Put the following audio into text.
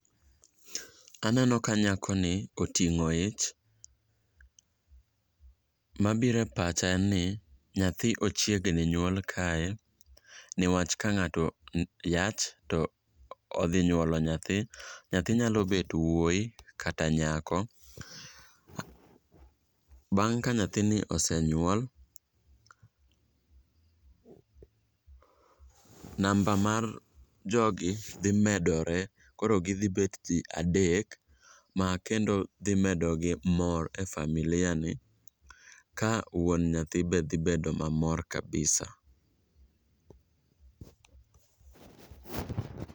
Aneno ka nyako ni oting'o ich . Mabiro e pacha en ni nyathi ochiegni nyuol kae niwach ka ng'ato yach to odhi nyuolo nyathi. Nyathi nyalo bet wuoyi kata nyako. Bang' ka nyathini osenyuol, namba mar jogi dhi medore koro gidhi bet jii adek ma kendo dhi medogi mor e familia ni, ka wuon nyathi be dhi bedo mamor kabisa.